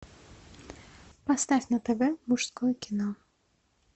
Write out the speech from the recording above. поставь на тв мужское кино